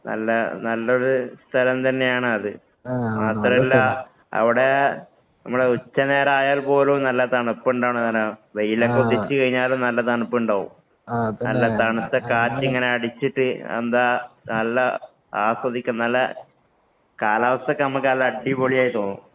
നല്ല നല്ലൊരു സ്ഥലം തന്നെയാണത്.മാത്രമല്ല അവിടെ നമ്മടെ ഉച്ച നേരമായാല്‍ പോലും നല്ല തണുപ്പ്. വെയിലൊക്കെ ഉദിച്ചു കഴിഞ്ഞാലും നല്ല തനുപ്പുണ്ടാകും.നല്ല തണുത്ത കാറ്റിങ്ങനെ അടിച്ചിട്ട് എന്താ നല്ല ആസ്വദിക്കും. നല്ല കാലാവസ്ഥയൊക്കെ നമുക്ക് നല്ല അടിപൊളിയായി തോന്നും.